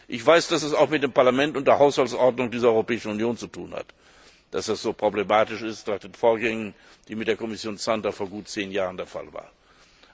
Ich weiß, dass das auch mit dem Parlament und der Haushaltsordnung dieser Europäischen Union zu tun hat, und dass das so problematisch ist nach den Vorgängen, die wir mit der Kommission Santer vor gut zehn Jahren hatten.